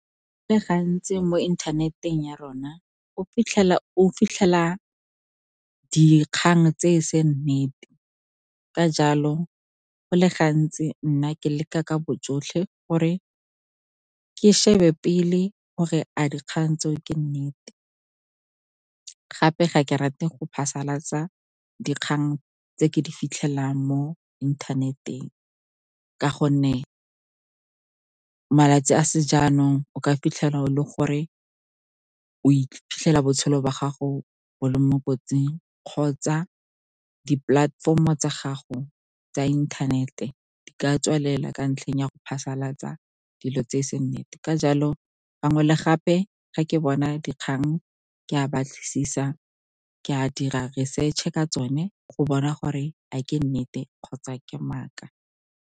Gantsi mo inthaneting ya rona o fitlhela dikgang tse e seng nnete. Ka jalo, go le gantsi, nna ke leka ka bojotlhe gore ke shebe pele gore a dikgang tseo ke nnete. Gape, ga ke rate go phasalatsa dikgang tse ke di fitlhelelang mo inthaneteng, ka gonne malatsi a sejaanong o ka fitlhela o le gore o iphitlhela botshelo ba gago bo le mo kotsing kgotsa di-platform-o tsa gago tsa inthanete di ka tswalela ka ntlheng ya go phasalatsa dilo tse seng nnete. Ka jalo, gangwe le gape, ga ke bona dikgang, ke a batlisisa, ke a dira research ka tsone go bona gore a ke nnete kgotsa ke maaka.